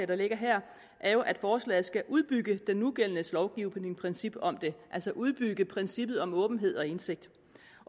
der ligger her er jo at forslaget skal udbygge den nugældende lovgivnings princip om det altså udbygge princippet om åbenhed og indsigt